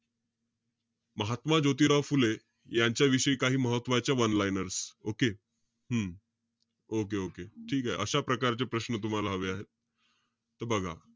महात्मा ज्योतिराव फुले यांच्याविषयी काही महत्वाच्या one liners. Okay hmm okay-okay ठीकेय. अशा प्रकारचे प्रश्न तुम्हाला हवे आहेत. त बघा.